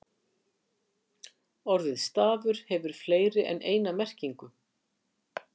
Orðið stafur hefur fleiri en eina merkingu.